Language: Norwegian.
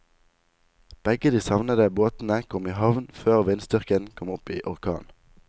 Begge de savnede båtene kom i havn før vindstyrken kom opp i orkan.